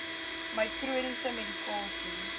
my chroniese medikasie